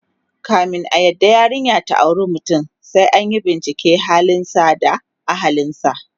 kamin a yarda yarinya ta auri mutum, sai anyi binciken halin sa da ahlinsa